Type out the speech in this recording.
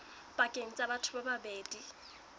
pakeng tsa batho ba babedi